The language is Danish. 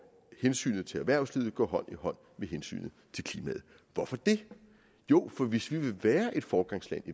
hensynet til erhvervslivet går hånd i hånd med hensynet til klimaet hvorfor det jo for hvis vi vil være et foregangsland